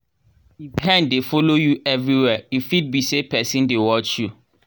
if hen dey follow you everywhere e fit be say person dey watch you.